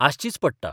आसचीच पडटा.